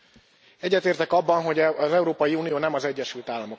Egyetértek abban, hogy az Európai Unió nem az Egyesült Államok.